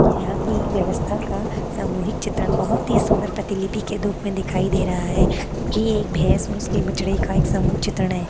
यहाँ की व्यवस्था का सामूहिक चित्रण बहुत ही सुंदर प्रतिलिपि के रूप में दिखाई दे रहा है क्योकि एक भैंस और उसके बछड़े का एक सामूहिक चित्रण है।